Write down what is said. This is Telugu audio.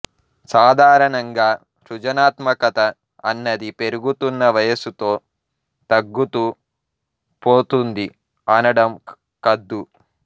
సాధారణంగా సృజనాత్మకత అన్నది పెరుగుతున్న వయసుతో తగ్గుతూ పోతుంది అనడం కద్దు